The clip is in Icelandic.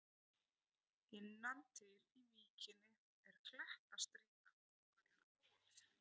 Innan til í víkinni er klettastrýta kölluð Goð.